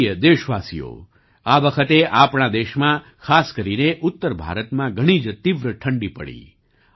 મારા પ્રિય દેશવાસીઓ આ વખતે આપણા દેશમાં ખાસ કરીને ઉત્તર ભારતમાં ઘણી જ તીવ્ર ઠંડી પડી